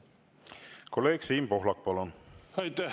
Kolleeg Siim Pohlak, palun!